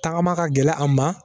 Tagama ka gɛlɛ a ma